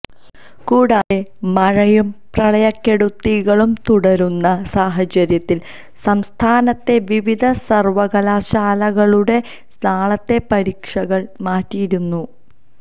കൂടാതെ മഴയും പ്രളയക്കെടുതികളും തുടരുന്ന സാഹചര്യത്തില് സംസ്ഥാനത്തെ വിവിധ സര്വകലാശാലകളുടെ നാളത്തെ പരീക്ഷകള് മാറ്റിയിരുന്നു